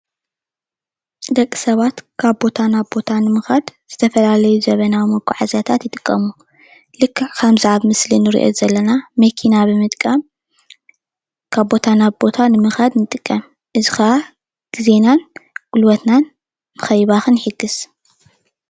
ደቂ ሰባት ካብ ቦታ ንምኻድ ዝተፈላለዩ ዘመናዊ መጓዓዝያታት ይጥቀሙ ልክዕ ከምዚ አብ ምስሊ እንሪኦ ዘለና መኪና ብምጥቃም ካብ ቦታ ናብ ቦታ ንምኻድ ንጥቀም እዚ ከዓ ግዜናን ጉልበትናን ንኸይባኽን ይሕግዝ።